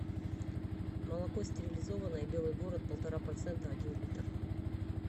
молоко стерилизованное белый город полтора процента один литр